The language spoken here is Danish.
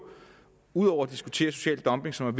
ud over at diskutere social dumping som er